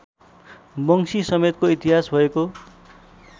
वंशीसमेतको इतिहास भएको